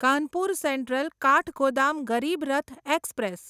Kanpur central Kathgodam Garib Rath express